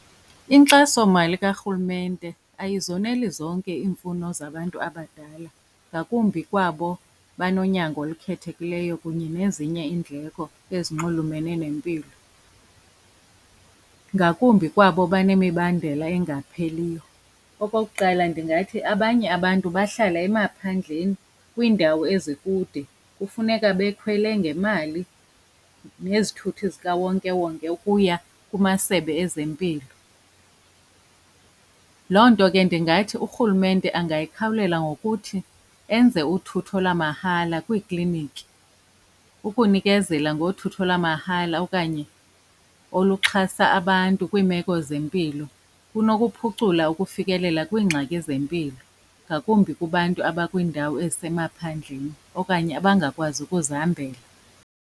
Inkxasomali karhulumente ayizoneli zonke iimfuno zabantu abadala ngakumbi kwabo banonyango olukhethekileyo kunye nezinye iindleko ezinxulumene nempilo, ngakumbi kwabo banemibandela engapheliyo. Okokuqala, ndingathi abanye abantu bahlala emaphandleni kwiindawo ezikude, kufuneka bekhwele ngemali nezithuthi zikawonkewonke ukuya kumasebe ezempilo. Loo nto ke ndingathi urhulumente angayikhawulela ngokuthi enze uthutho lamahala kwiikliniki. Ukunikezela ngothutho lamahala okanye oluxhasa abantu kwiimeko zempilo kunokuphucula ukufikelela kwiingxaki zempilo ngakumbi kubantu abakwiindawo ezisemaphandleni okanye abangakwazi ukuzihambela.